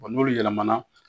Wa n'olu yɛlɛmana